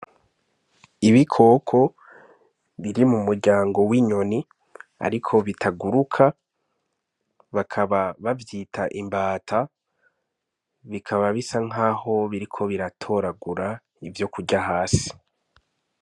Ibikoko biri mu muryango w'inyoni ariko bitaguruka bakaba bavyita imbata bikaba bisa nkaho biriko biratoragura ivyokurya hasi.